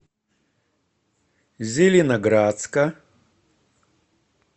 зеленоградска